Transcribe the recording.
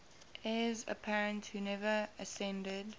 heirs apparent who never acceded